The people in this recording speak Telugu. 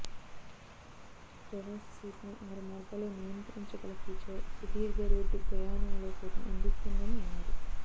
డ్రవర్సీట్ను ఆరు మార్గాల్లో నియంత్రించగల ఫీచర్ సుదీర్ఘరోడ్డుప్రయాణాల్లో సైతం అందిస్తుందని అన్నారు